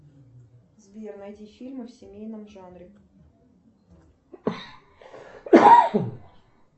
сбер найди фильмы в семейном жанре